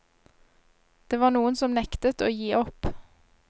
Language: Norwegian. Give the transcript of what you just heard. Det var noen som nektet å gi opp.